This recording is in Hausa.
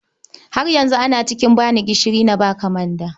Har yanzu ana cinikin ba ni gishiri na ba ka manda.